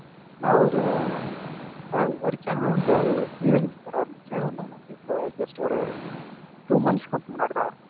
நான் ஒரு, ஒரு channel வந்து two years before ஆரம்பிச்சேன். இன்னொண்ணு வந்து இப்ப just ஒரு two months க்கு முன்னாடி தான் ஆரம்பிச்சேன்.